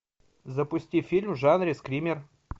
запусти фильм в жанре скример